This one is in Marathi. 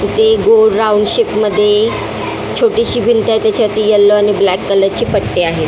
किती गोल राऊंड शेप मध्ये छोटीशी भिंत आहे त्याच्यात येलो आणि ब्लॅक कलर ची पट्टी आहे.